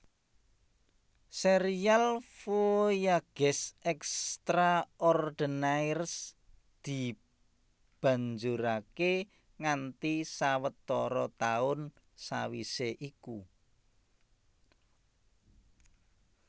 Sérial Voyages extraordinaires dibanjuraké nganti sawetara taun sawisé iku